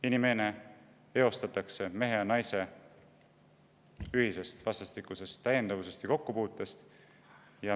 Inimene eostatakse mehe ja naise ühisest vastastikusest täiendavusest ja kokkupuutest.